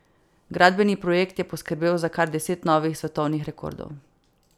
Gradbeni projekt je poskrbel za kar deset novih svetovnih rekordov.